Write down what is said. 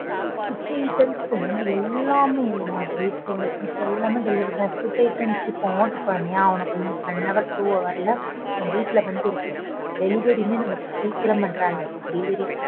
Food items லேர்ந்து எல்லாமே நம்ம வீட்டுக்கு தேவையான things எல்லாமே delivery பண்றாங்க. Food items இப்போ order பண்ணியா இப்போ one hour, two hour ல உங்க வீட்ல வந்து இருக்கும் delivery யுமே நமக்கு சீக்கிரம் பண்றாங்க. Delivery